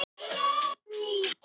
Gerald